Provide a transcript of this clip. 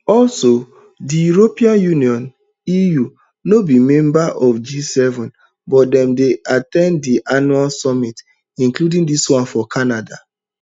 also di european union eu no be member of gseven but dem dey at ten d di annual summit including dis one for canada